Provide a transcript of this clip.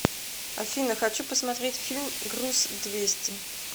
афина хочу посмотреть фильм груз двести